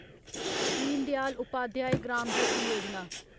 Din Dayal Upadhyay Gram Jyoti Yojana